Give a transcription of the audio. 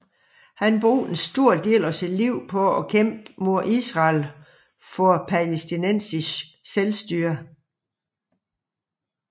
Han brugte en stor del af sit liv på at kæmpe mod Israel og for palæstinensisk selvstyre